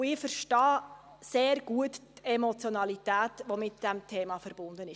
Ich verstehe die Emotionalität sehr gut, die mit diesem Thema verbunden ist.